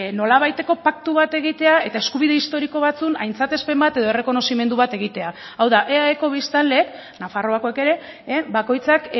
nolabaiteko paktu bat egitea eta eskubide historiko batzuen aintzatespen bat edo errekonozimendu bat egitea hau da eaeko biztanleek nafarroakoek ere bakoitzak